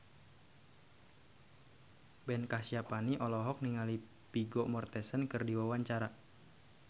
Ben Kasyafani olohok ningali Vigo Mortensen keur diwawancara